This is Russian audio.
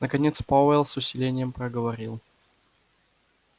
наконец пауэлл с усилением проговорил